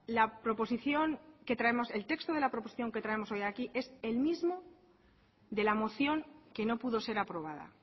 el texto de la proposición que traemos hoy aquí es el mismo de la moción que no pudo ser aprobada